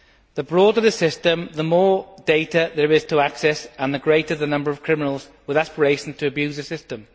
The broader the system, the more data there is to access, and the greater the number of criminals with aspirations to abuse the system.